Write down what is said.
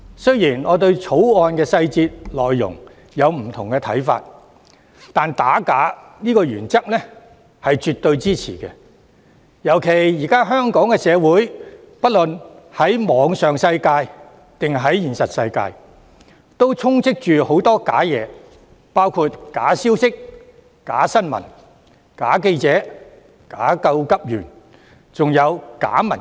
雖然我對《條例草案》的細節和內容有不同的看法，但我絕對支持打假的原則，特別是現今的香港社會無論在網上或現實世界，皆充斥着假的事物，包括假消息、假新聞、假記者、假急救員，還有假民主。